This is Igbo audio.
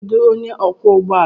Kedu onye ọkwọ ụgbọ ala?